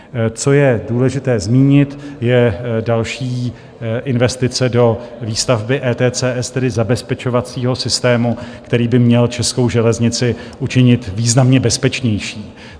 Co je důležité zmínit, je další investice do výstavby ETCS, tedy zabezpečovacího systému, který by měl českou železnici učinit významně bezpečnější.